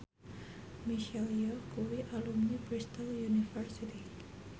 Michelle Yeoh kuwi alumni Bristol university